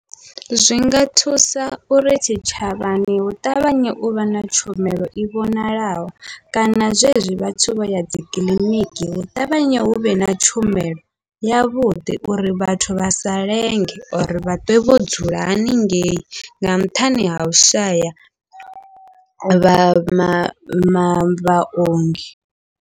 Zwinga thusa uri tshitshavhani hu ṱavhanye uvha na tshumelo i vhonalaho, kana zwezwi vhathu vhoya dzikiḽiniki hu ṱavhanye huvhe na tshumelo yavhuḓi, uri vhathu vhasa lenge or vha ṱwe vho dzula haningei nga nṱhani hau shaya vha ma ma ma vhaongi.